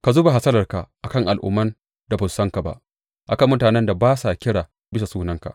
Ka zuba hasalarka a kan al’umman da ba su san ka ba, a kan mutanen da ba sa kira bisa sunanka.